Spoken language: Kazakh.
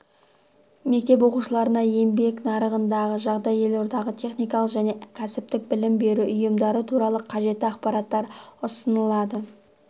мектеп оқушыларына еңбек нарығындағы жағдай елордадағы техникалық және кәсіптік білім беру ұйымдары туралы қажетті ақпараттар ұсынылады